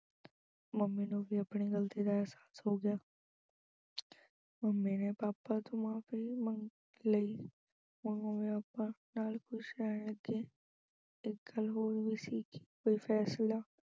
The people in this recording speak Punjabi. mummy ਨੂੰ ਵੀ ਆਪਣੀ ਗਲਤੀ ਦਾ ਅਹਿਸਾਸ ਹੋ ਗਿਆ mummy ਨੇ papa ਤੋਂ ਮਾਫ਼ੀ ਵੀ ਮੰਗ ਲਈ ਹੁਣ mummy papa ਨਾਲ ਖੁਸ਼ ਰਹਿਣ ਲੱਗੇ ਇੱਕ ਗੱਲ ਹੋਰ ਵੀ ਸੀ ਕਿ ਕੋਈ ਫੈਸਲਾ